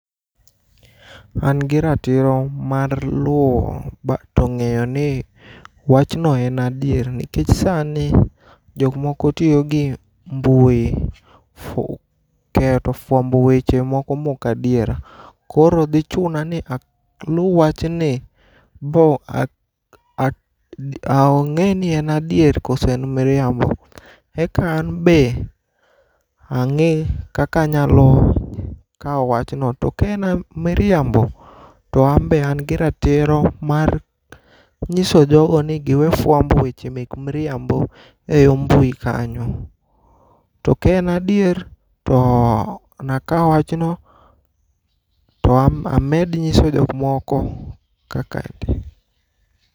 An gi ratiro mar luwo ba to ng'eyo ni to wachno en adier, nikech sani jok moko tiyo gi mbui fu keyo to fwambo weche moko mokadiera. Koro dhi chuna ni alu wachni bo ak ak ad ang'e ni en adier koso en miriambo. Eka an be ang'i kaka anyalo kawo wachno. To ka en miriambo, an be an gi ratiro mar nyiso jogo ni giwe fwambo weche mek mriambo e yo mbui kanyo. To kaen adier to nakawo wachno to amed nyiso jok moko kaka te.